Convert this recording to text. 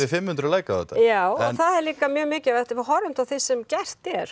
fimm hundruð like á þetta já og það er líka mjög mikilvægt að við horfum á það sem gert er